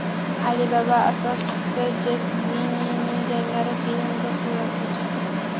Alibaba asoschisi Jet Lining jangari filmida suratga tushdi.